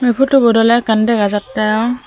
photo but ole ekkan dega jatte.